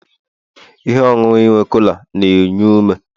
ihe ọṅụṅụ nwe cola na-enye ume